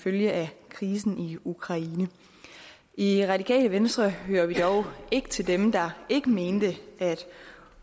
følge af krisen i ukraine i radikale venstre hører vi dog ikke til dem der ikke mente at